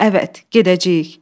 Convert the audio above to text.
Əvət, gedəcəyik.